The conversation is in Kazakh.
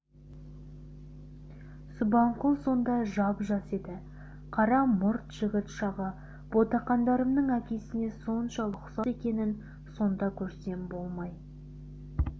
субанқұл сонда жап-жас еді қара мұрт жігіт шағы ботақандарымның әкесіне соншалық ұқсас екенін сонда көрсем болмай